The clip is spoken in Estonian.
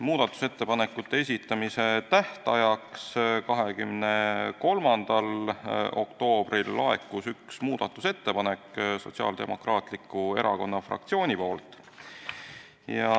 Muudatusettepanekute esitamise tähtajaks 23. oktoobril laekus üks muudatusettepanek Sotsiaaldemokraatliku Erakonna fraktsioonilt.